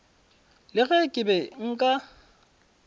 le ge ke be nka